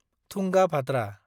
Tungabhadra